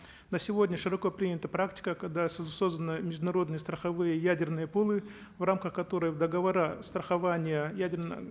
на сегодня широко принята практика когда созданные международные страховые ядерные пулы в рамках которых договора страхования ядерно